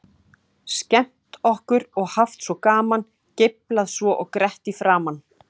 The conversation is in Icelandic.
Skemmt okkur og haft svo gaman, geiflað svo og grett í framan.